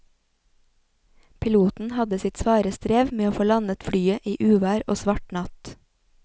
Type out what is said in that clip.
Piloten hadde sitt svare strev med å få landet flyet i uvær og svart natt.